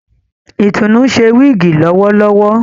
Itunu ṣe wigi lowolowo